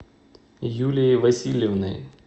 юлией васильевной